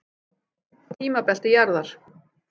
Tímabelti jarðar.